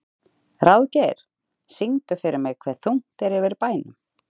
Ráðgeir, syngdu fyrir mig „Hve þungt er yfir bænum“.